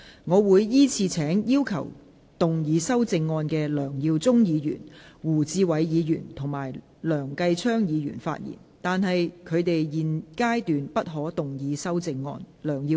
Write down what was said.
我會依次請要動議修正案的梁耀忠議員、胡志偉議員及梁繼昌議員發言；但他們在現階段不可動議修正案。